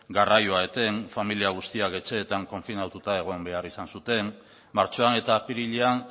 garraioa eten familia guztiak etxeetan konfinatuta egon behar izan zuten martxoan eta apirilean